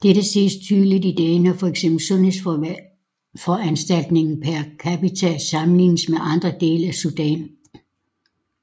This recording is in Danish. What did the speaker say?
Dette ses tydeligt i dag når fx sundhedsforanstaltninger per capita sammenlignes med andre dele af Sudan